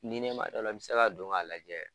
Ni ne ma dɔ la i bɛ se ka don k'a lajɛ